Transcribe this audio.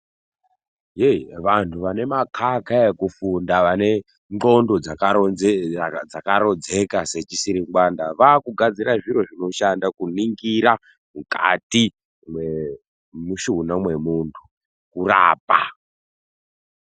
Heyi vantu vane makaka ekufunda vane ndxondo dzakarodzeka sechisiringwanda vaakugadzira zviro zvinoshanda kuningira mukatu memushuna memuntu, kurapa.